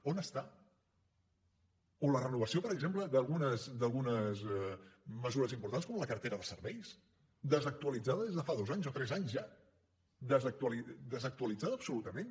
on està o la renovació per exemple d’algunes mesures importants com la cartera de serveis desactualitzada des de dos anys o tres anys ja desactualitzada absolutament